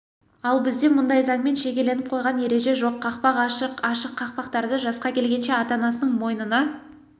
ал бізде мұндай заңмен шегеленіп қойған ереже жоқ қақпақ ашық ашық қақпақтардан жасқа келгенше ата-анасының мойнына